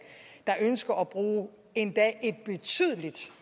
der ønsker at bruge endda et betydeligt